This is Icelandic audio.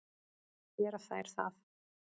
Gera þær það?